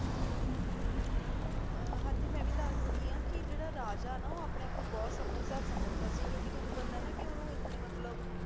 ਆਹ ਹਾਂਜੀ ਮੈਂ ਆਯ ਵੀ ਦਸ ਦੇਣੀ ਆਂ ਕੇ ਊ ਜੇਰਾ ਰਾਜਾ ਨਾ ਅਪਨੇ ਆਪ ਨੂ ਬਹੁਤ ਸਮਝਦਾਰ ਸਮਝਦਾ ਸੀ ਜੋ ਕੇ ਤੁਹਾਨੂ ਪਤਾ ਆਯ ਨਾ ਕੇ ਓਦੋਂ ਏਨੇ ਮਤਲਬ